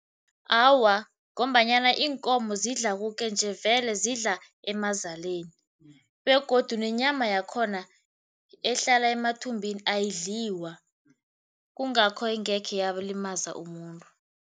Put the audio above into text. Awa, ngombanyana iinkomo zidla koke nje vele zidla emazaleni begodu nenyama yakhona ehlala emathumbini ayidliwa, kungakho ingekhe yalimaza umuntu.